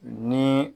Ni